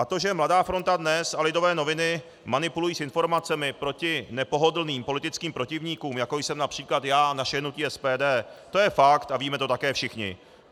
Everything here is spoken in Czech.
A to, že Mladá fronta Dnes a Lidové noviny manipulují s informacemi proti nepohodlným politickým protivníkům, jako jsem například já a naše hnutí SPD, to je fakt a víme to také všichni.